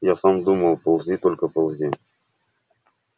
я сам думал ползи только ползи